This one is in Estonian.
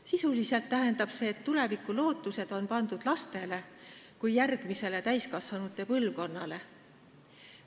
Sisuliselt tähendab see, et tulevikulootused on pandud lastele kui järgmisele täiskasvanute põlvkonnale.